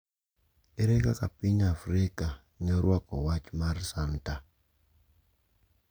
Ere kaka piny Afrika ne orwako wach mar Santa?